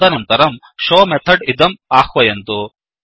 तदनन्तरं show method इदं आह्वयन्तु